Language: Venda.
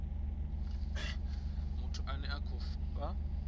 muthu ane a khou fha